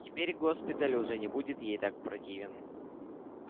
теперь госпиталь уже не будет ей так противен